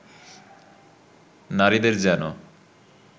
নারীদের যেনো